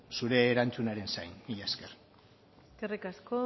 zure erantzunaren zain mila esker eskerrik asko